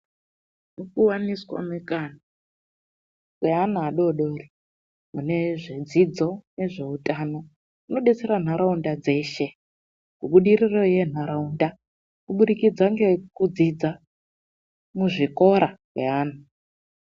Mukuwaniswa mukana weana wadodori mune zvedzidzo nezvehutano munobetsera nharaunda dzeshe kubudiriro yenharaunda kubudikidza nekudzidza muzvikora ngeana .